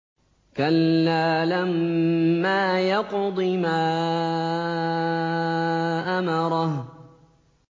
كَلَّا لَمَّا يَقْضِ مَا أَمَرَهُ